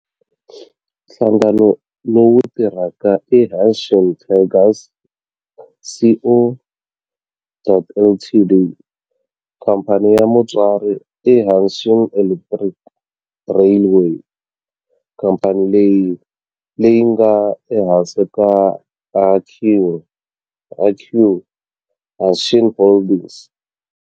Nhlangano lowu tirhaka i Hanshin Tigers Co., Ltd. Khamphani ya mutswari i Hanshin Electric Railway, khamphani leyi nga ehansi ka Hankyu Hanshin Holdings.